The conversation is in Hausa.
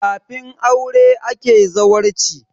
Kafin aure ake zawarci